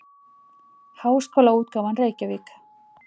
Háskólaútgáfan Reykjavík.